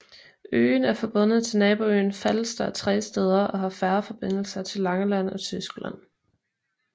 Øen er forbundet til naboøen Falster tre steder og har færgeforbindelser til Langeland og Tyskland